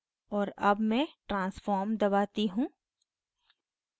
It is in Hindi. और अब मैं transform दबाती हूँ